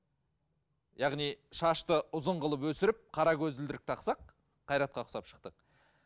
яғни шашты ұзын қылып өсіріп қара көзілдірік тақсақ қайратқа ұқсап шықтық